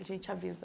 A gente avisa.